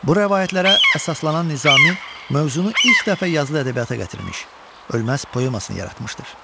Bu rəvayətlərə əsaslanan Nizami mövzunu ilk dəfə yazılı ədəbiyyata gətirmiş, ölməz poemasını yaratmışdır.